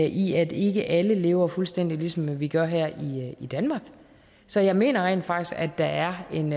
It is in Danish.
i at ikke alle lever fuldstændig ligesom vi gør her i danmark så jeg mener rent faktisk at der er en